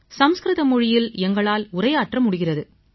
சமஸ்கிருத மொழியில் எங்களால் உரையாற்ற முடிகிறது